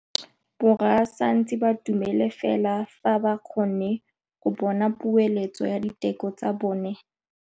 Borra saense ba dumela fela fa ba kgonne go bona poeletsô ya diteko tsa bone.